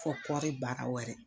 Fo kɔɔri baara wɛrɛ.